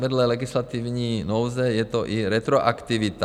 Vedle legislativní nouze je to i retroaktivita.